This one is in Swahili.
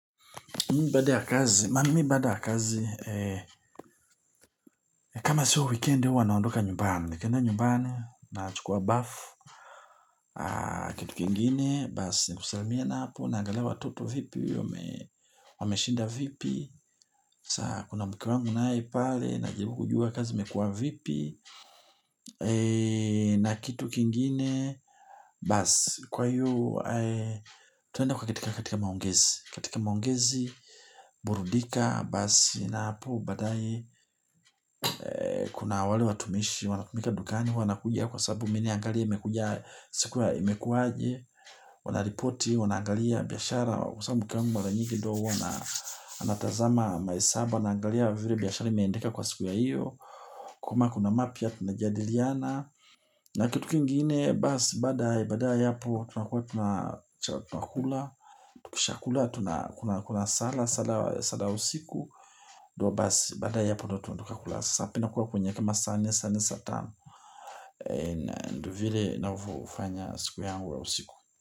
Mimi baada ya kazi, mimi baada ya kazi, kama siyo wikendi huwa naondoka nyumbani. Nikienda nyumbani, nachukua bafu, kitu kingine, basi, kusalimiana hapo, naangalia watoto vipi, wameshinda vipi. Saa, kuna mke wangu naye pale, najaribu kujua kazi, imekua vipi, na kitu kingine, basi, kwa hiyo, tutaenda kukatika katika maongezi. Katika maongezi, burudika, basi na hapo, baadaye kuna wale watumishi, wanatumika dukani, wanakuja kwa sababu mi naangalia imekuja siku ya imekuwaje, wanaripoti, wanaangalia biashara, kwa sababu kila mtu mara nyingi ndio huwa anatazama mahesabu, anaangalia vile biashara imeandika kwa siku ya hiyo, kama kuna mapya tunajadiliana. Na kitu kingine basi baada baada ya hapo tunakua tunakula. Tukisha kula tunakula sala sala usiku ndio basi baada ya hapo ndio tunatoka kula Sapa inakuwa kwenye kama saa nne saa nne saa tano. Ndio vile nanyofanya siku yangu ya usiku.